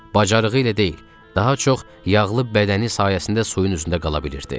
Bacarığı ilə deyil, daha çox yağlı bədəni sayəsində suyun üzündə qala bilirdi.